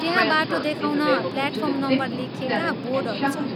त्यहाँ बाटो देखाउन प्लेटफार्म नम्बर लेखिएका बोर्डहरू छन्।